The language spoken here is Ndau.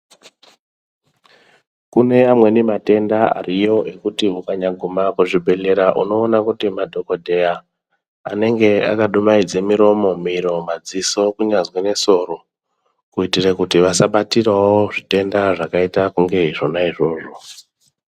Kune amweni matenda ariyo ekuti ukanyaguma kuzvibhedhleya unoona kuti madhokodheya anenge akadumhaidza miromo, miro kunyangwe nesoro, kuti asabatire zvirwere zvakadai ngeizvozvo.